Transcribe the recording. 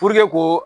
ko